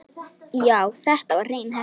Já, þetta var hrein heppni.